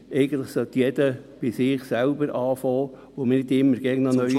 Eigentlich sollte jeder bei sich selbst anfangen und nicht immer noch neue ….)